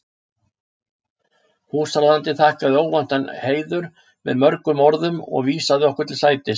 Húsráðandi þakkaði óvæntan heiður með mörgum orðum og vísaði okkur til sætis.